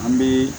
An bɛ